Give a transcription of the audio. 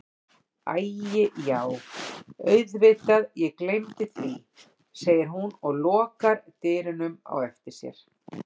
Æi já auðvitað ég gleymdi því, segir hún og lokar dyrunum á eftir sér.